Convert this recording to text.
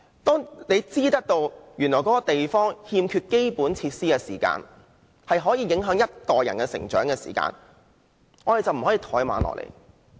當知道一個地區如欠缺基本設施，是會對某一代人的成長構成影響，我們便不能怠慢。